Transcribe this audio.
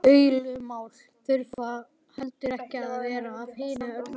Deilumál þurfa heldur ekki að vera af hinu illa.